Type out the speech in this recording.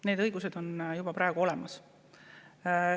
Need õigused on juba praegu olemas.